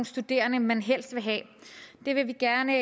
studerende man helst vil have det vil vi gerne